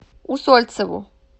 усольцеву